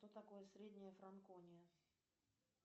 что такое средняя франкония